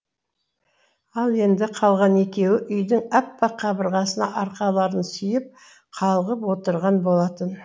ал енді қалған екеуі үйдің аппақ қабырғасына арқаларын сүйеп қалғып отырған болатын